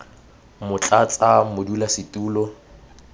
motlatsamodulasetulo